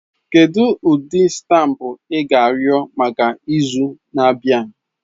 Kedu ụdị stampụ a ga-arịọ maka izu na-abịa?